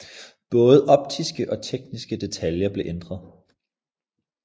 Både optiske og tekniske detaljer blev ændret